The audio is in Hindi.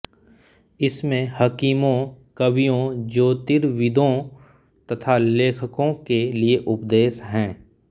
इसमें हकीमों कवियों ज्योतिर्विदों तथा लेखकों के लिए उपदेश हैं